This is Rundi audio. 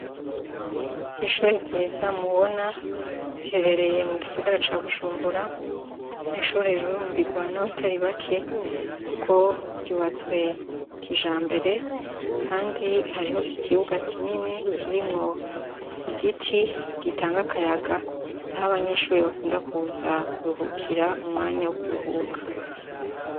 Iris shure ryiza mubona riherereye mugisagara ca Bujumbura, n'ishure rirurumbirwa n'abatari bake kuko ryubatswe kijambere kandi hariho ikibuga kinini kirimwo igiti gitanga akayaga aho abanyeshure bakunda kuza kuruhikira mu mwanya wo kuruhuka.